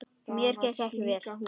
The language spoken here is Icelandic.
Mér gekk vel.